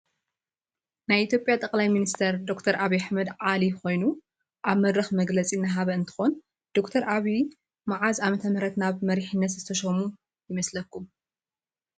ናይ ኢትዮጲያ ጠቅላይ ሚኒስትር ዶከተር አብይ አሕመድ ዓሊ ኮይኑ አብ መድርክ መግለፅ እናሃበ እንትኮን ድክተር አብይ መዓዝ ዓመተምህረት ናብ መሪሒነት ዝትሾሞ ይመስለኩም ?